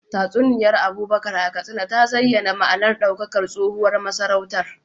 Tatsuniyar Abubakar a Katsina ta zayyana ma’anar daukakar tsohuwar masarautar.